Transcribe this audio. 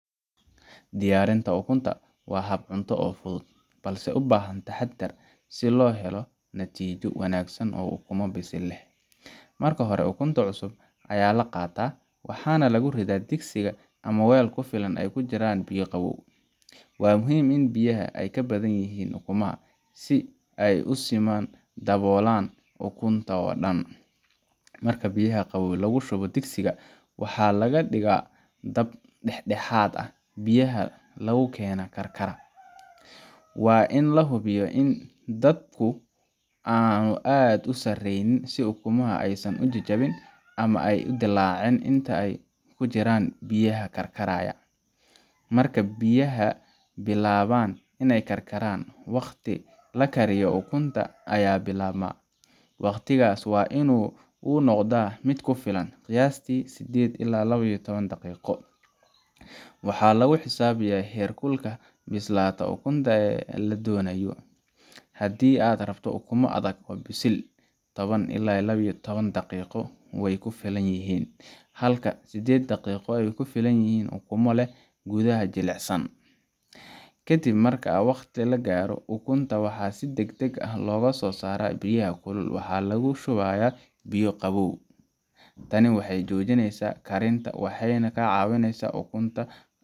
Diyaarinta ukunta la shiilay waa hab cunto oo aad u fudud, balse u baahan taxaddar si loo gaaro natiijo wanaagsan oo ukumo bisil leh. Marka hore, ukunta cusub ayaa la qaataa, waxaana lagu ridaa digsiga ama weel ku filan oo ay ku jiraan biyo qabow. Waa muhiim in biyaha ay ka badan yihiin ukumaha, si ay si siman u daboolaan ukunta oo dhan. Marka biyaha qabow lagu shubo digsiga, waxaa la dhigaa dab dhexdhexaad ah, biyahana lagu keenaa karkar. Waa in la hubiyaa in dabku aanu aad u sarreyn, si ukunta aysan u jajabin ama u dillaacin inta ay ku jiraan biyaha karkaraya. Marka biyaha bilaabaan inay karkaraan, wakhtiga la kariyo ukunta ayaa bilaabmaa. Wakhtigaas waa in uu noqdaa mid ku filan qiyaastii sideed ilaa laba iyo toban daqiiqo waxaa lagu xisaabiyaa heerka bislaanta ukunta ee la doonayo. Haddii aad rabto ukumo adag oo bisil, 1toban ilaa iyo laba iyo taoban daqiiqo waa ku filan yihiin, halka 8 daqiiqo ay ku filan yihiin ukumo leh gudaha jilicsan. Kadib marka wakhtiga la gaaro, ukunta waxaa si degdeg ah looga soo saaraa biyaha kulul, waxaana lagu shubaa biyo qabow. Tani waxay joojineysaa karinta, waxayna ka caawisaa in ukunta .